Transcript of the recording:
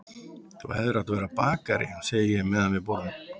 Þú hefðir átt að verða bakari, segi ég meðan við borðum.